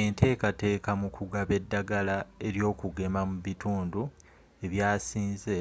entekateka mu kugaba eddagala ely'okugema mu bitundu e byasinze